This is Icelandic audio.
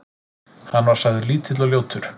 Hann var sagður lítill og ljótur.